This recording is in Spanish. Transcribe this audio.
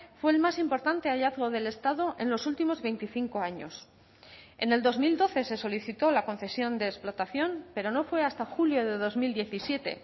fue el más importante hallazgo del estado en los últimos veinticinco años en el dos mil doce se solicitó la concesión de explotación pero no fue hasta julio de dos mil diecisiete